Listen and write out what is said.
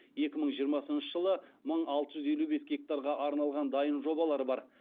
екі мың жиырмасыншы жылы мың алты жүз елу бес гектарға арналған дайын жобалар бар